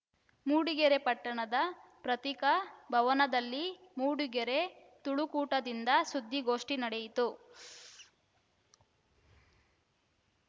ಮೂಡಿಗೆರೆ ಪಟ್ಟಣದ ಪತ್ರಿಕಾ ಭವನದಲ್ಲಿ ಮೂಡಿಗೆರೆ ತುಳುಕೂಟದಿಂದ ಸುದ್ಧಿಗೋಷ್ಠಿ ನಡೆಯಿತು